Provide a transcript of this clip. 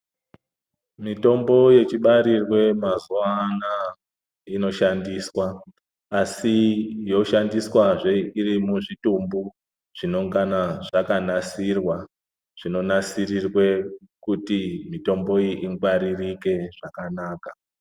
Mitombo yechibarirwe mazuwa anaya inoshandiswa asi yoshandiswazve iri muzvitumbu zvinenge zvakanasirirwa kuti mitombo iyi ingwaririke zvakanaka.